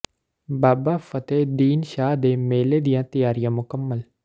ਬਾਬਾ ਫਤਿਹ ਦੀਨ ਸ਼ਾਹ ਦੇ ਮੇਲੇ ਦੀਆਂ ਤਿਆਰੀਆਂ ਮੁਕੰਮਲ